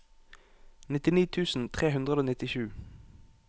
nittini tusen tre hundre og nittisju